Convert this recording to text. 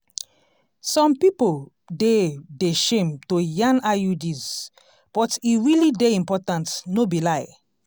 some pipo dey de shame to yan iuds but e realli dey important no be lai